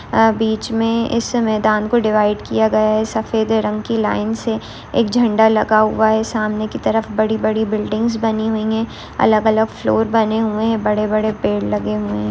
आ बीच में इस मयदान को डिवाइड किया गया है सफेद रंग की लाइन से एक झंडा लगा हुआ है सामने की तरफ बड़ी-बड़ी बिल्डिंगस बनी हुई है अलग-अलग फ्लोर बने हुए हैं बड़े-बड़े पेड़ लगे हुए हे--